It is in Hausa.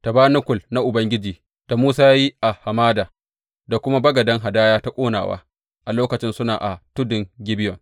Tabanakul na Ubangiji da Musa ya yi a hamada, da kuma bagaden hadaya ta ƙonawa a lokacin suna a tudun Gibeyon.